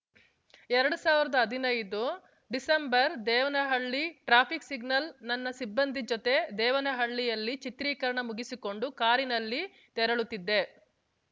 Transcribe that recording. ಎರಡ್ ಸಾವಿರ್ದಾ ಹದಿನೈದುಡಿಸೆಂಬರ್‌ ದೇವನಹಳ್ಳಿ ಟ್ರಾಫಿಕ್‌ ಸಿಗ್ನಲ್‌ ನನ್ನ ಸಿಬ್ಬಂದಿ ಜತೆ ದೇವನಹಳ್ಳಿಯಲ್ಲಿ ಚಿತ್ರೀಕರಣ ಮುಗಿಸಿಕೊಂಡು ಕಾರಿನಲ್ಲಿ ತೆರಳುತ್ತಿದ್ದೆ